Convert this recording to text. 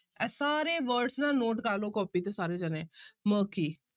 ਇਹ ਸਾਰੇ words ਨਾ note ਕਰ ਲਓ ਕਾਪੀ ਤੇ ਸਾਰੇ ਜਾਣੇ murky